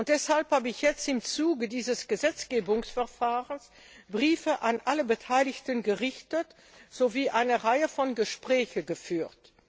Deshalb habe ich jetzt im Zuge dieses Gesetzgebungsverfahrens Briefe an alle Beteiligten gesandt sowie eine Reihe von Gesprächen geführt.